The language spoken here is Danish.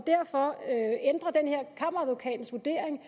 kammeradvokatens vurdering